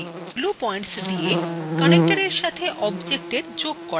glue points দিয়ে connector এর সাথে objectএর যোগ করা যায়